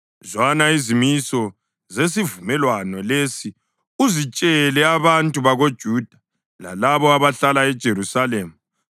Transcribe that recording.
“Zwana izimiso zesivumelwano lesi uzitshele abantu bakoJuda lalabo abahlala eJerusalema.